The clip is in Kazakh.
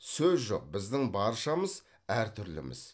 сөз жоқ біздің баршамыз әртүрліміз